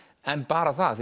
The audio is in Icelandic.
en bara það